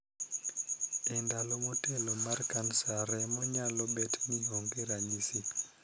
E ndalo motelo mar kansa remo, nyalo bet ni onge ranyisi.